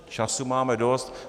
Času máme dost.